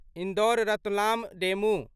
Indore Ratlam DEMU